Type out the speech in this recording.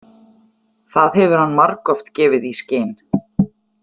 Það hefur hann margoft gefið í skyn.